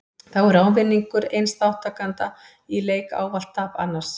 Þá er ávinningur eins þátttakanda í leik ávallt tap annars.